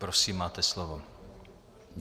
Prosím, máte slovo.